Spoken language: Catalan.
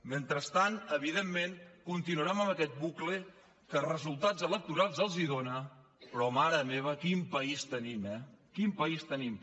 mentrestant evidentment continuarem amb aquest bucle que resultats electorals els hi dona però mare meva quin país tenim eh quin país tenim